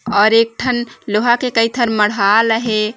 अउर एक ठन लोहा कई ठन मरहाल हे।